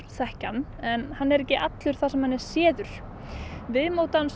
þekkja hann en hann er ekki allur þar sem hann er séður viðmót hans